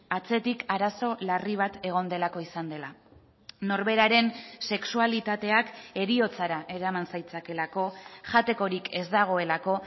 atzetik arazo larri bat egon delako izan dela norberaren sexualitateak heriotzara eraman zaitzakeelako jatekorik ez dagoelako